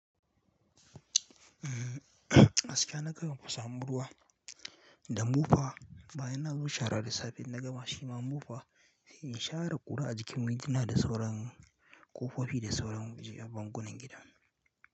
Gaskiya na kaiwa kusa mu ruwa da Mufa, bayan na zo shara da safe in naga ma shi Ma Mufa, in shara ƙura a jikin waji na da sauran ƙofofi da sauran waje a bangunan gida.